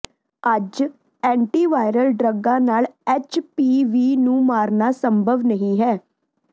ਅੱਜ ਐਂਟੀਵਾਇਰਲ ਡਰੱਗਾਂ ਨਾਲ ਐਚਪੀਵੀ ਨੂੰ ਮਾਰਨਾ ਸੰਭਵ ਨਹੀਂ ਹੈ